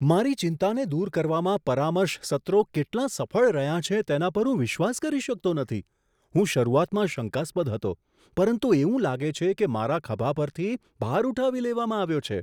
મારી ચિંતાને દૂર કરવામાં પરામર્શ સત્રો કેટલા સફળ રહ્યા છે તેના પર હું વિશ્વાસ કરી શકતો નથી. હું શરૂઆતમાં શંકાસ્પદ હતો, પરંતુ એવું લાગે છે કે મારા ખભા પરથી ભાર ઉઠાવી લેવામાં આવ્યો છે.